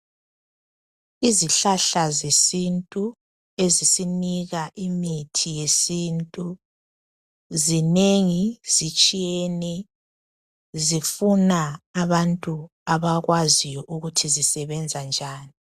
Izihlahla zesintu ezisinika imithi yesintu zinengi, zitshiyene. Zifuna abantu abakwaziyo ukuthi zisebenza njani.